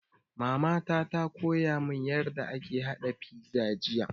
Mama ta koya mun yarda ake haɗa fiza jiya